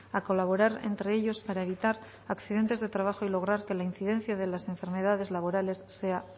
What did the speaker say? a colaborar entre ellos para evitar accidentes de trabajo y lograr que la incidencia de las enfermedades laborales sea